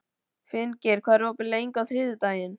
Finngeir, hvað er opið lengi á þriðjudaginn?